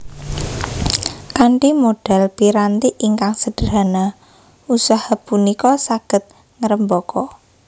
Kanthi modal piranti ingkang sederhana usaha punika saged ngrembaka